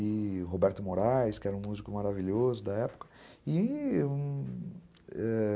e Roberto Moraes, que era um músico maravilhoso da época, e